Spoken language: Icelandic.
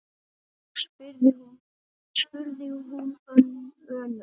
spurði hún önug.